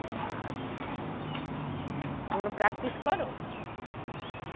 আচ্ছা, তোমরা practice করো?